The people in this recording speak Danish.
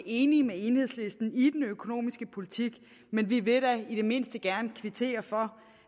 enige med enhedslisten i den økonomiske politik men vi vil da i det mindste gerne kvittere for